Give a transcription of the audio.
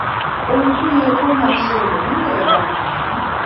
ohun tó yẹ kó máa ṣẹlẹ nílé wa nìyí